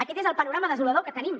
aquest és el panorama desolador que tenim